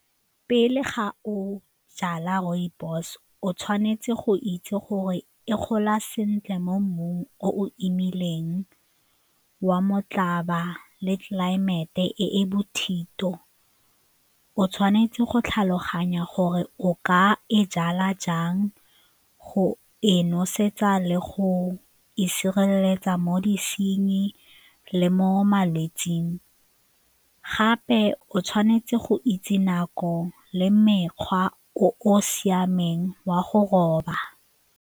Pele ga o jala rooibos o tshwanetse go itse gore e gola sentle mo mmung o wa motlhaba le tlelaemete e e bothito, o tshwanetse go tlhaloganya gore o ka e jala jang go e nosetsa le go e sireletsa mo disenying le mo malwetsing gape o tshwanetse go itse nako le mekgwa o o siameng wa go roba.